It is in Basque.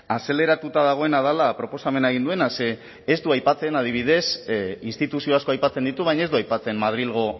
azeleratuta dagoena dela proposamena egin duena ze ez ez du aipatzen adibidez instituzio asko aipatzen ditu baina ez du aipatzen madrilgo